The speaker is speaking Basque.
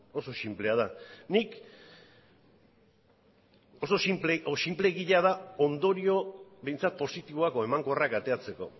oso sinplea da nik oso sinpleegia da ondorio behintzat positiboak edo emankorrak ateratzeko